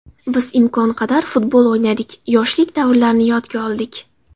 Biz imkon qadar futbol o‘ynadik, yoshlik davrlarini yodga oldik.